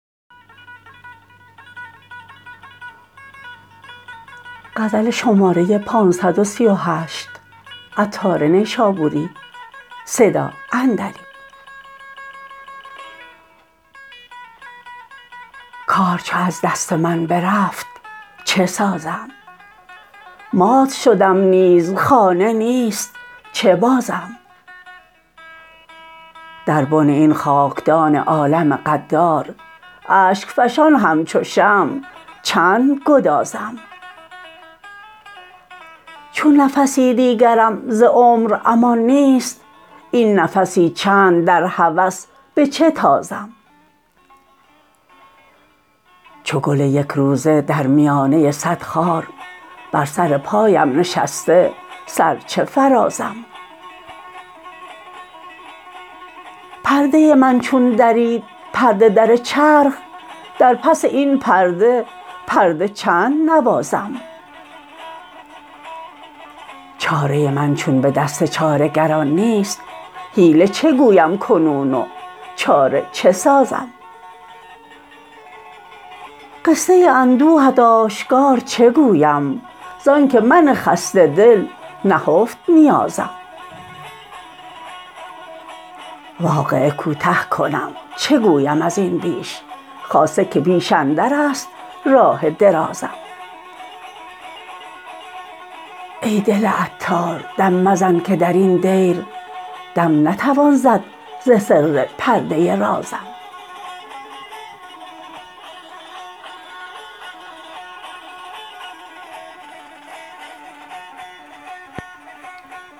کار چو از دست من برفت چه سازم مات شدم نیز خانه نیست چه بازم در بن این خاکدان عالم غدار اشک فشان همچو شمع چند گدازم چون نفسی دیگرم ز عمر امان نیست این نفسی چند در هوس به چه تازم چو گل یک روزه در میانه صد خار بر سر پایم نشسته سر چه فرازم پرده من چون درید پرده در چرخ در پس این پرده پرده چند نوازم چاره من چون به دست چاره گران نیست حیله چه گویم کنون و چاره چه سازم قصه اندوهت آشکار چه گویم زانکه من خسته دل نهفت نیازم واقعه کوته کنم چه گویم ازین بیش خاصه که پیش اندر است راه درازم ای دل عطار دم مزن که درین دیر دم نتوان زد ز سر پرده رازم